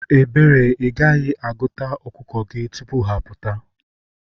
Ebere, igaghi-aguta okuko gi tupu ha aputa.